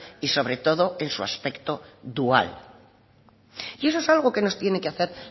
y sobre todo en su aspecto dual y eso es algo que nos tiene que hacer